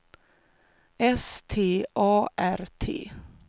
S T A R T